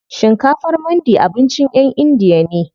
Shinkafar mandi abincin ƴan indiya ne.